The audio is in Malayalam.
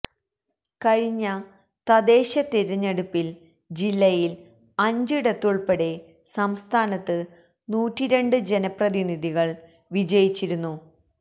കഴിഞ്ഞ തദ്ദേശ തിരഞ്ഞെടുപ്പില് ജില്ലയില് അഞ്ചിടത്തുള്പ്പെടെ സംസ്ഥാനത്ത് നൂറ്റി രണ്ട് ജനപ്രതിനിധികള് വിജയിച്ചിരുന്നു